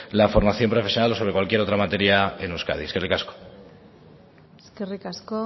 la formación profesional o sobre cualquier otra materia en euskadi eskerrik asko eskerrik asko